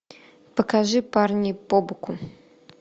покажи парни побоку